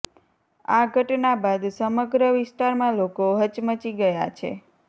આ ઘટના બાદ સમગ્ર વિસ્તારમાં લોકો હચમચી ગયા છે